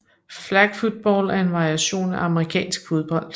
Flag football er en variation af amerikansk fodbold